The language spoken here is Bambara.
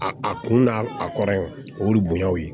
A a kun n'a a kɔrɔ ye o y'i bonya o ye